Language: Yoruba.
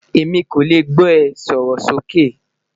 Emi ko le gbọ e, sọrọ soke